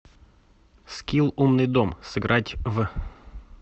скилл умный дом сыграть в